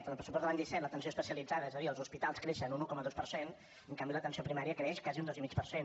en el pressupost de l’any disset l’atenció especialitzada és a dir els hospitals creixen un un coma dos per cent en canvi l’atenció primària creix quasi un dos i mig per cent